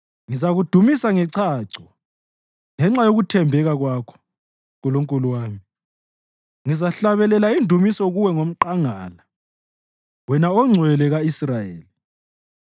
Ngizakudumisa ngechacho ngenxa yokuthembeka kwakho, Nkulunkulu wami; ngizahlabelela indumiso kuwe ngomqangala, wena oNgcwele ka-Israyeli.